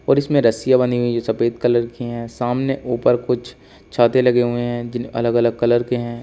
और इसमें रस्सियां बानी जो हुई सफेद कलर की है। सामने ऊपर कुछ छाते लगे हुए हैं जि अलग अलग कलर के हैं।